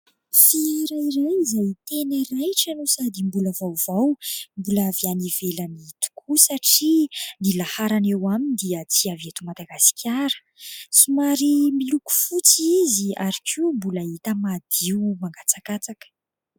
Fiara iray izay tena raitra no sady mbola vaovao. Mbola avy any ivelany tokoa satria ny laharana eo aminy dia tsy avy eto Madagasikara. Somary miloko fotsy izy ary koa mbola hita madio mangatsakatsaka.